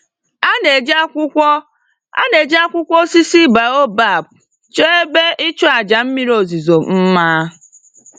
A na-eji akwụkwọ A na-eji akwụkwọ osisi baobab chọọ ebe ịchụàjà mmiri ozuzo mma